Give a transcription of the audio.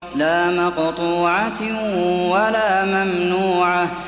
لَّا مَقْطُوعَةٍ وَلَا مَمْنُوعَةٍ